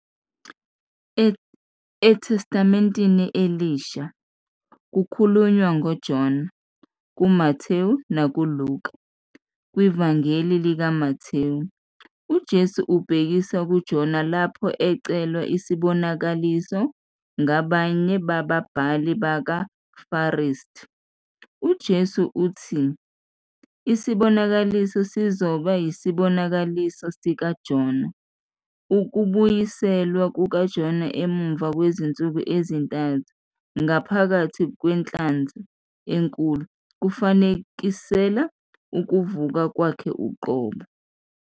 ETestamenteni Elisha, kukhulunywa ngoJona kuMathewu nakuLuka. KwiVangeli likaMathewu, uJesu ubhekisa kuJona lapho ecelwa isibonakaliso ngabanye bababhali nabaFarisi. UJesu uthi isibonakaliso sizoba yisibonakaliso sikaJona - Ukubuyiselwa kukaJona emva kwezinsuku ezintathu ngaphakathi kwenhlanzi enkulu kufanekisela ukuvuka Kwakhe uqobo.